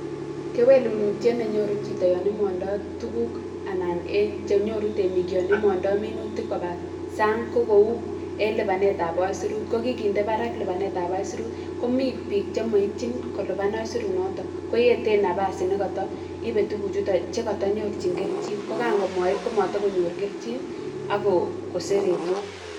Kewelunitiet ne nyoru chito yon imondoi tukuk anan che nyoru temik yon imondoi minutik koba san'g. Ko kou en lipanetab isurut. ko kikinse barak lipanetab isurut komitei biik che maitchin kolipan isurunotok koeten nafasi nekata ipei tukuchutok si konyorchikei kelchin. Kan komaip komatikonyor kelchin ak koseretio.